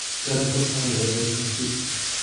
sare ku taxan ee Dauphin C.